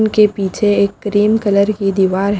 उनके पीछे एक ग्रीन कलर की दीवार--